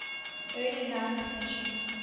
early ninth century